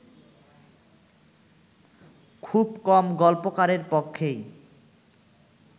খুব কম গল্পকারের পক্ষেই